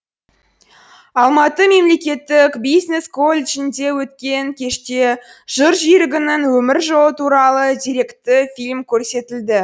алматы мемлекеттік бизнес колледжінде өткен кеште жыр жүйрігінің өмір жолы туралы деректі фильм көрсетілді